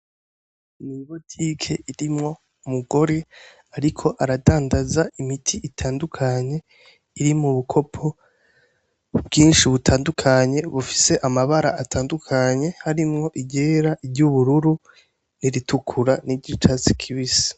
Mw'ibotike irimwo umugore, ariko aradandaza imiti itandukanye iri mu bukopo bwinshi butandukanye bufise amabara atandukanye harimwo igera iryo ubururu niritukura n'iryo catsi kibise.